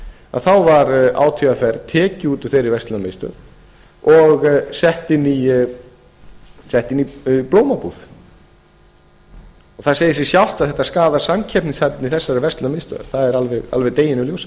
að þá var átvr tekið út úr þeirri verslunarmiðstöð og sett inn í blómabúð það segir sig sjálft að þetta skaðar samkeppnishæfni þessarar verslunarmiðstöðvar það er alveg deginum